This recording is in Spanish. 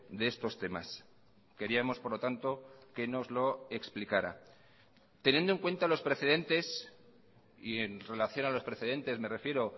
de estos temas queríamos por lo tanto que nos lo explicara teniendo en cuenta los precedentes y en relación a los precedentes me refiero